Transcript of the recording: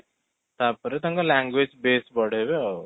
ତା'ପରେ ତାଙ୍କର language base ବଢେଇବେ ଆଉ